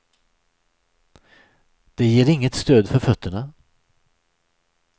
Det ger inget stöd för fötterna.